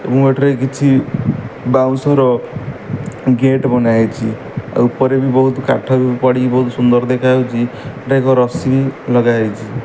ମୁଁ ଏଠାରେ କିଛି ବାଉଁଶର ଗେଟ ବନାହେଇଚି। ଆଉ ଉପରେ ବି ବହୁତ କାଠ ଵି ପଡିକି ବହୁତ ସୁନ୍ଦର ଦେଖାଯାଉଚି। ଏଠି ଏକ ରାଶି ଲଗାହେଇଛି।